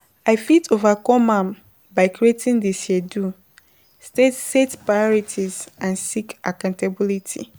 i fit overcome am by creating di schedule, set priorities and seek accountability.